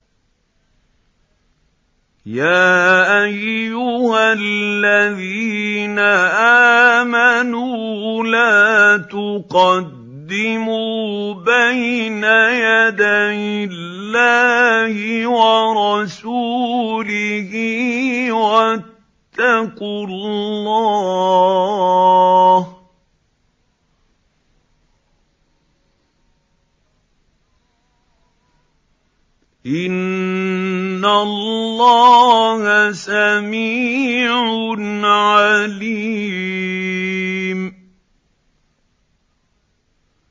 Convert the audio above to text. يَا أَيُّهَا الَّذِينَ آمَنُوا لَا تُقَدِّمُوا بَيْنَ يَدَيِ اللَّهِ وَرَسُولِهِ ۖ وَاتَّقُوا اللَّهَ ۚ إِنَّ اللَّهَ سَمِيعٌ عَلِيمٌ